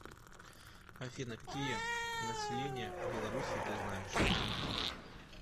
афина какие население белоруссии ты знаешь